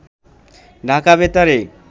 ঢাকা বেতারে